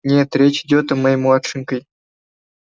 нет речь идёт о моей младшенькой